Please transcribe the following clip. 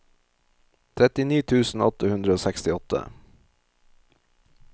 trettini tusen åtte hundre og sekstiåtte